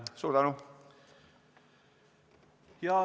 Suur tänu!